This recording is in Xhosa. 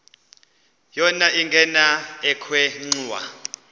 yona ingena ekhwenxua